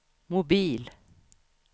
mobil